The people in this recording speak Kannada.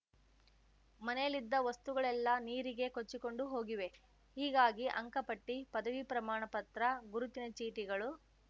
ಮನೆಯಲ್ಲಿದ್ದ ವಸ್ತುಗಳೆಲ್ಲಾ ನೀರಿಗೆ ಕೊಚ್ಚಿಕೊಂಡು ಹೋಗಿವೆ ಹೀಗಾಗಿ ಅಂಕಪಟ್ಟಿ ಪದವಿ ಪ್ರಮಾಣಪತ್ರ ಗುರುತಿನ ಚೀಟಿಗಳು